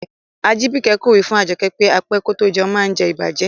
Ajibike ko wi fun Ajoke pe á pẹ kò tó jẹ̀un maá ǹ jẹ̀ ìbàjẹ́.